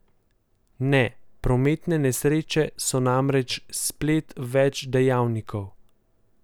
Ne, prometne nesreče so namreč splet več dejavnikov.